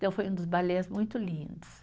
Então, foi um dos balés muito lindos.